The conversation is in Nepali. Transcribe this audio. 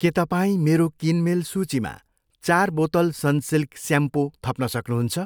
के तपाईँ मेरो किनमेल सूचीमा चार बोतल सनसिल्क स्याम्पो थप्न सक्नुहुन्छ?